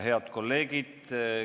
Head kolleegid!